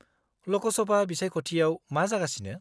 -लकसभा बिसायख'थियाव मा जागासिनो?